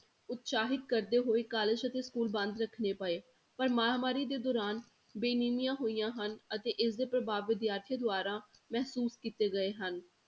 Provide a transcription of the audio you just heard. ਉਤਸ਼ਾਹਿਤ ਕਰਦੇ ਹੋਏ college ਅਤੇ school ਬੰਦ ਰੱਖਣੇ ਪਏ ਪਰ ਮਹਾਂਮਾਰੀ ਦੇ ਦੌਰਾਨ ਬੇਨੀਮੀਆਂ ਹੋਈਆਂ ਹਨ, ਅਤੇ ਇਸਦੇ ਪ੍ਰਭਾਵ ਵਿਦਿਆਰਥੀਆਂ ਦੁਆਰਾ ਮਹਿਸੂਸ ਕੀਤੇ ਗਏ ਹਨ।